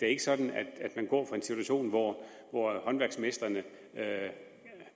er sådan at man går fra en situation hvor håndværksmestrene